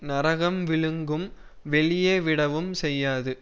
நரகம் விழுங்கும் வெளியே விடவும் செய்யாது